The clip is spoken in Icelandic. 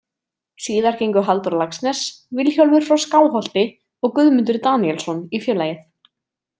Síðar gengu Halldór Laxness, Vilhjálmur frá Skáholti og Guðmundur Daníelsson í félagið.